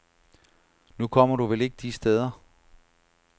Nu kommer du vel ikke de steder.